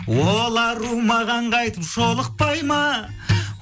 ол ару маған қайтып жолықпай ма